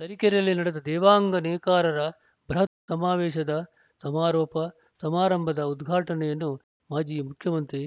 ತರೀಕೆರೆಯಲ್ಲಿ ನಡೆದ ದೇವಾಂಗ ನೇಕಾರರ ಬೃಹತ್‌ ಸಮಾವೇಶದ ಸಮಾರೋಪ ಸಮಾರಂಭದ ಉದ್ಘಾಟನೆಯನ್ನು ಮಾಜಿ ಮುಖ್ಯಮಂತ್ರಿ